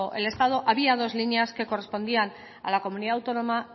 el estado había dos líneas que correspondían a la comunidad autónoma